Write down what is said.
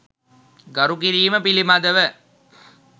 ගරු කිරීම පිළිබඳව